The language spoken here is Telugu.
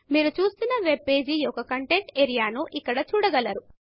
మీరు చూస్తున్న వెబ్ పేజ్ యొక్క కంటెంట్ఏరియా ను ఇక్కడ చూడగలరు